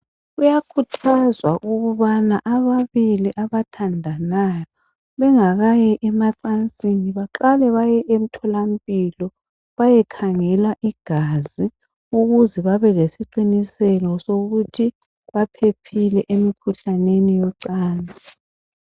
Kuyakhuthazwa ukuba ababili abathandayo bengakayi emacansini baqale bayemtholampilo bayekhangelwa igazi ukuze babe lesiqiniseko sokuthi baphephile emikhuhlaneni yocansi.